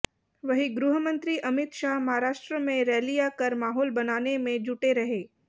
वहीं गृहमंत्री अमित शाह महाराष्ट्र में रैलियां कर माहौल बनाने में जुटे रहे